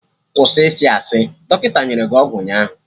Kwụsị isi asị! Dọkịta nyere gị ọgwụ ụnyaahụ